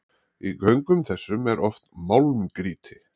Í göngum þessum er oft málmgrýti.